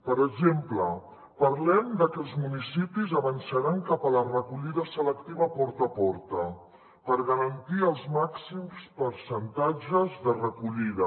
per exemple parlem de que els municipis avançaran cap a la recollida selectiva porta a porta per garantir els màxims percentatges de recollida